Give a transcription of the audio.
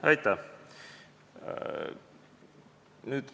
Aitäh!